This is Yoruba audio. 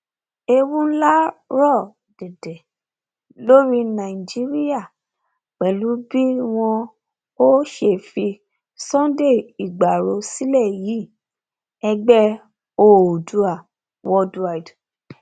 ewu ńlá ń rọ dẹdẹ lórí nàìjíríà pẹlú bí wọn ò ṣe fi sunday igbárò sílẹ yìí ẹgbẹ oòdua worldwide